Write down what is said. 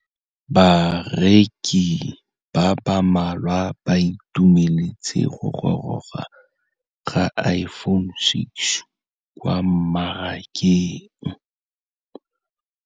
Bareki ba ba malwa ba ituemeletse go gôrôga ga Iphone6 kwa mmarakeng.